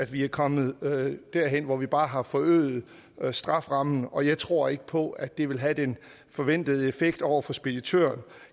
vi er kommet derhen hvor vi bare har forøget strafferammen og jeg tror ikke på at det vil have den forventede effekt over for speditøren